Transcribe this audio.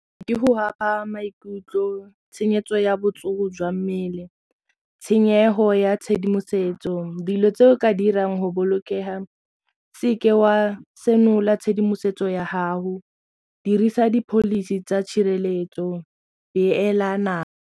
Di go ama maikutlo tshenyetso ya botsogo jwa mmele tshenyego ya tshedimosetso, dilo tse o ka dirang go bolokega o seke wa senola tshedimosetso ya haho dirisa di-policy tsa tshireletso beela nako.